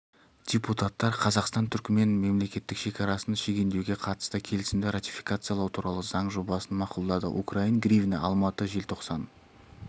депутаттар қазақстан-түрікмен мемлекеттік шекарасын шегендеуге қатысты келісімді ратификациялау туралы заң жобасын мақұлдады украин гривні алматы желтоқсан